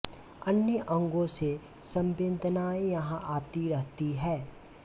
अन्य अंगों से संवेदनाएँ यहाँ आती रहती हैं